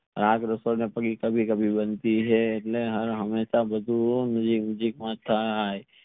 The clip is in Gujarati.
રાગ કભી કભી બનતી હાય એટલે હાર હમેશા બધુ થઈ